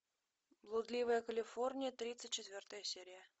блудливая калифорния тридцать четвертая серия